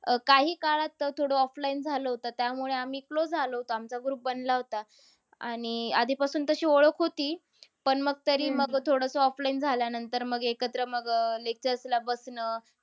काही काळात थोडं offline झालं होतं. त्यामुळे आम्ही close आलो होतो. आमचा group बनला होता. आणि आधीपासून तशी ओळख होती. पण मग तरी मग थोडंसं offline झाल्यानंतर एकत्र मग अह lectures ला बसणं.